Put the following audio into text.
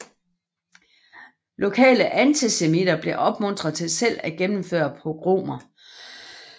Lokale antisemitter blev opmuntret til selv at gennemføre pogromer